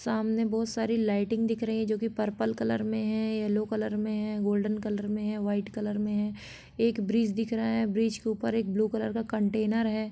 सामने बहुत सारी लाइटिंग दिख रही है जो की पर्पल कलर में है येलो कलर में है गोल्डन कलर में है व्हाइट कलर में है एक ब्रिज दिख रहा है ब्रिज के ऊपर एक ब्लू कलर का कंटेनर है।